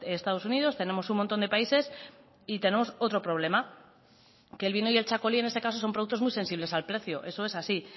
estados unidos tenemos un montón de países y tenemos otro problema que el vino y el txakoli en este caso son productos muy sensibles al precio eso es así